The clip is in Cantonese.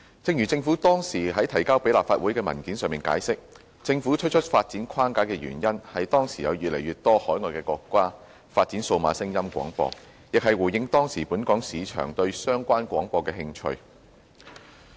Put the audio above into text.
正如政府當時提交立法會的文件上解釋，政府推出發展框架的原因，是當時有越來越多海外國家發展數碼廣播，亦是回應當時本港市場對相關廣播的興趣。